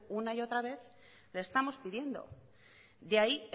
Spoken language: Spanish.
una y otra vez le estamos pidiendo de ahí